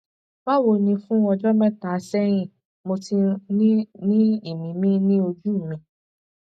báwo ni fún ọjọ mẹta sẹyìn mo ti ń ní ìmíìmí ní ojú mi